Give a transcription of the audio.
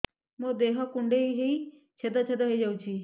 ମୋ ଦେହ କୁଣ୍ଡେଇ ହେଇ ଛେଦ ଛେଦ ହେଇ ଯାଉଛି